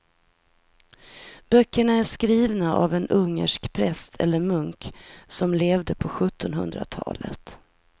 Böckerna är skrivna av en ungersk präst eller munk som levde på sjuttonhundratalet.